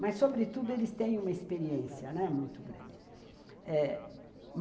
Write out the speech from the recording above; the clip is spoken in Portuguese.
Mas, sobretudo, eles têm uma experiência, né, muito grande.